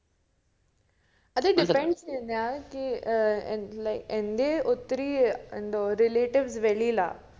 അത് depends ചെയ്യും ഞാൻ എനിക് ഏർ എന്റെ ഒത്തിരി എന്തുവ relatives വെളിയിലാ